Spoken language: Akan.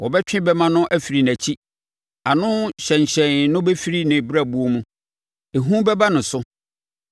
Wɔbɛtwe bɛmma no firi nʼakyi, ano hyɛnhyɛn no bɛfiri ne brɛboɔ mu. Ehu bɛba ne so;